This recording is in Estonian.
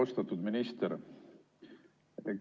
Austatud minister!